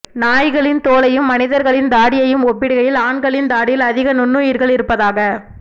நாய்களின் தோலையும் மனிதர்களின் தாடியையும் ஒப்பிடுகையில் ஆண்களின் தாடியில் அதிக நுண்ணுயிர்கள் இருப்பதாக